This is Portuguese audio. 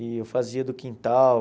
E eu fazia do quintal.